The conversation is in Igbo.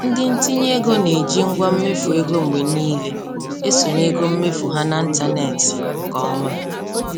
Ndị ntinye ego na-eji ngwa mmefuego mgbe niile esonye ego mmefu ha na ntanetị nke ọma.